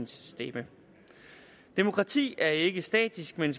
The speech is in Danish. stemme demokrati er ikke statisk men